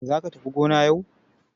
Za ka tafi gona yau!